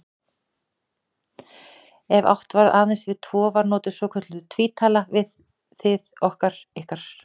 Ef átt var aðeins við tvo var notuð svokölluð tvítala, við, þið, okkar, ykkar.